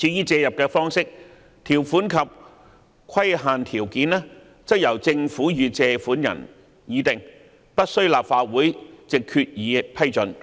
而借入的"方式"、"條款"及"規限條件"則由政府與借款人議定而不需立法會藉決議批准。